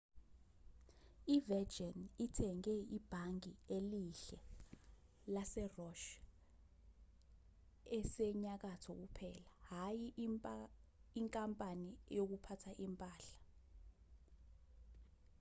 i-virgin ithenge ibhange elihle' lase-roch esenyakatho kuphela hhayi inkampani yokuphatha impahla